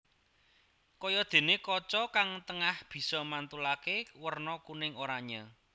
Kayadené kaca kang tengah bisa mantulaké werna kuning oranyé